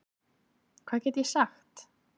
Hvað get ég sagt?